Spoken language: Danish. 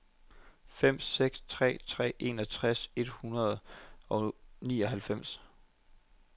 fem seks tre tre enogtres et hundrede og nioghalvfems